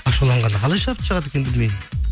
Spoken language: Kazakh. ашуланғанда қалай шабыт шығады екен білмеймін